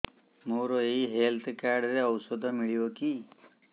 ମୋର ଏଇ health card ରେ ଔଷଧ ମିଳିବ କି